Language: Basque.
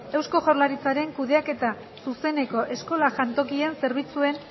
eusko jaurlaritzaren kudeaketa zuzeneko eskola jantokien zerbitzuen